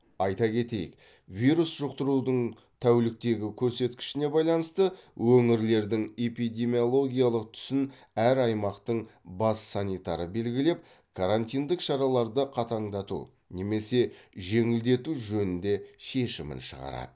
айта кетейік вирус жұқтырудың тәуліктегі көрсеткішіне байланысты өңірлердің эпидемиологиялық түсін әр аймақтың бас санитары белгілеп карантиндік шараларды қатаңдату немесе жеңілдету жөнінде шешімін шығарады